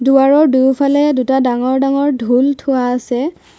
দুৱাৰৰ দুয়োফালে দুটা ডাঙৰ ডাঙৰ ঢোল থোৱা আছে।